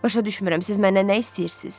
Başa düşmürəm, siz məndən nə istəyirsiz?